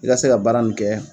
I ka se ka baara min kɛ